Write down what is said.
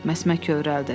Məsmə kövrəldi.